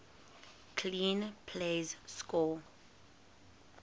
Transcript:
clean plays score